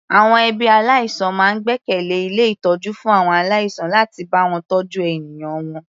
Àwọn ẹbí aláìsàn máa ń gbẹ́kẹ̀lẹ́ ilé ìtọ́jú fún àwọn aláìsàn láti bá wọn tọ́jú ènìyàn wọn.